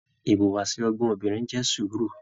Ìwùwàsi ọgbọn obìnrin jẹ sùúrù.